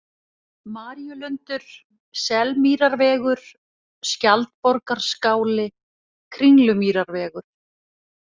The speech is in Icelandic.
Maríulundur, Selmýrarvegur, Skjaldborgarskáli, Kringlumýrarvegur